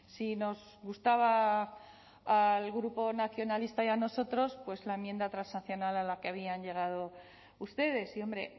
si nos gustaba al grupo nacionalista y a nosotros la enmienda transaccional a la que habían llegado ustedes y hombre